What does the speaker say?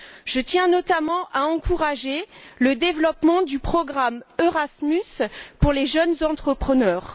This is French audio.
Je tiens notamment à encourager le développement du programme Erasmus pour les jeunes entrepreneurs.